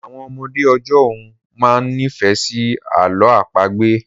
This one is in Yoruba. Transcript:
Àwọn ọmọdé ọjọ́ ún máa ń nifẹ si àlọ àpagbẹ̀